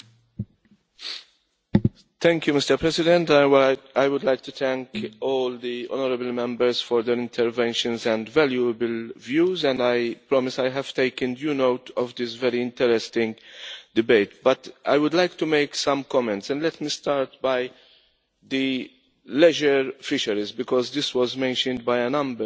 Mr President, I would like to thank all the honourable Members for their interventions and valuable views and I promise that I have taken due note of this very interesting debate. I would like to make some comments and let me start with leisure fisheries because this was mentioned by a number of speakers.